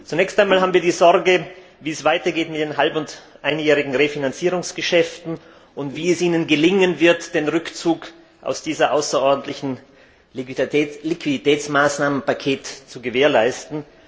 Zunächst einmal haben wir die Sorge, wie es weitergeht mit den halb und einjährigen Refinanzierungsgeschäften und wie es Ihnen gelingen wird, den Rückzug aus diesem außerordentlichen Liquiditätsmaßnahmenpaket zu gewährleisten.